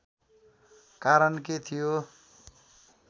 कारण के थियो